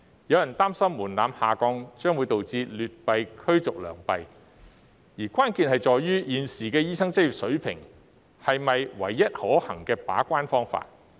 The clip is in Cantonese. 有人擔心門檻下降會導致劣幣驅逐良幣，關鍵在於，現時的醫生執業試是否唯一可行的把關方法？